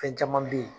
Fɛn caman be ye